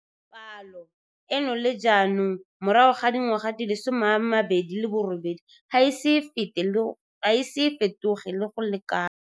Palo eno le jaanong morago ga dingwaga di le 28 ga e ise e fetoge go le kalo.